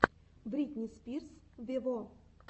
бритни спирс вево